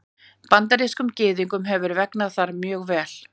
Bandarískum Gyðingum hefur vegnað þar mjög vel.